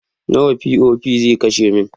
Nawa POP zai kashe min?